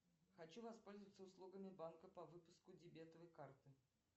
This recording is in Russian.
хочу воспользоваться услугами банка по выпуску дебетовой карты